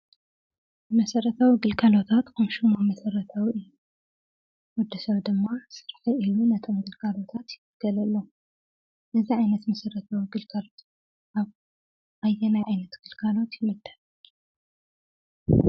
መሰረታዊ ግልጋሎታት ከም ሽሞም መሰረታዊ እዮም ።ወዲ ሰብ ድማ ስረሐይ ኢሉ ነቶም ግልጋሎታት ይግልገለሎም። ነዚ ዓይነት ምስሊ ግልጋሎታት ኣብ ኣየናይ ዓይነት ግልጋሎት ይምደብ?